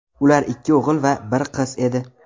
Ular ikki o‘g‘il va bir qiz edi.